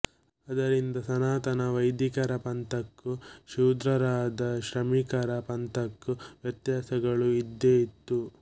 ಅದರಿಂದ ಸನಾತನ ವೈಧಿಕರ ಪಂಥಕ್ಕೂ ಶೂದ್ರರಾದ ಶ್ರಮಿಕರ ಪಂಥಕ್ಕೂ ವ್ಯತ್ಯಾಸಗಳು ಇದ್ದೇ ಇತ್ತು